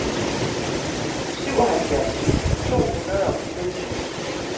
syvoghalvfjerds tusind to hundrede og fireogtyve